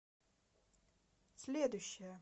следующая